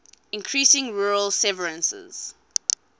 increasing rural severances